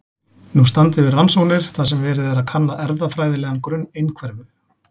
Nú standa yfir rannsóknir þar sem verið er að kanna erfðafræðilegan grunn einhverfu.